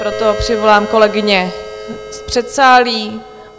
Proto přivolám kolegyně v předsálí.